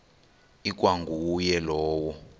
ikwa nguye lowo